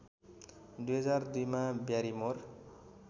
२००२ मा ब्यारिमोर